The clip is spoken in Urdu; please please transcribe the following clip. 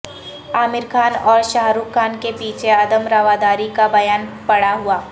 عامر خان اور شاہ رخ خان کے پیچھے عدم رواداری کا بیان پڑا ہوا